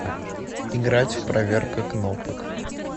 играть в проверка кнопок